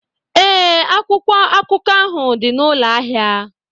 Ee, akwụkwọ akụkọ ahụ dị na ụlọ ahịa.